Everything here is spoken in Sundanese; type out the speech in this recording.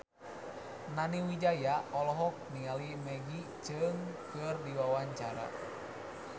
Nani Wijaya olohok ningali Maggie Cheung keur diwawancara